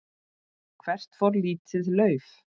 Hvert fór lítið lauf?